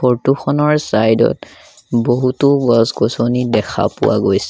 Photo খনৰ side ত বহুতো গছ-গছনি দেখা পোৱা গৈছে।